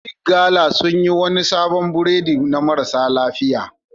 Big gala sun yi wani sabon burodi na marasa lafiya.